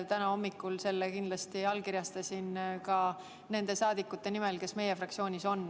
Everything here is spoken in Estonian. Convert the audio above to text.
Täna hommikul allkirjastasin ma selle nende saadikute nimel, kes on meie fraktsioonis.